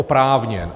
Oprávněn.